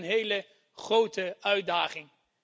Daar ligt een hele grote uitdaging.